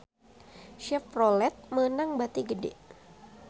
Chevrolet meunang bati gede